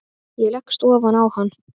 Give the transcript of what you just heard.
Ég leggst ofan á hann.